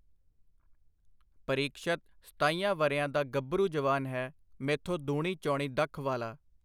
ਪਰੀਕਸ਼ਤ ਸਤਾਈਆਂ ਵਰ੍ਹਿਆਂ ਦਾ ਗੱਭਰੂ ਜਵਾਨ ਹੈ, ਮੈਥੋਂ ਦੂਣੀ-ਚੌਣੀ ਦੱਖ ਵਾਲਾ.